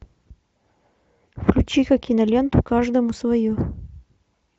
включи ка киноленту каждому свое